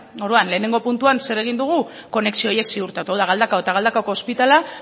orduan lehenengo puntuan zer egin dugu konexio horiek ziurtatu hau da galdakao eta galdakaoko ospitalea